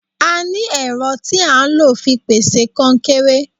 A ní ẹ̀rọ tí a ń lò fi pèsè kọnkéré.